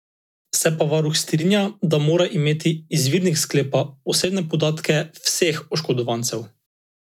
Se pa varuh strinja, da mora imeti izvirnik sklepa osebne podatke vseh oškodovancev.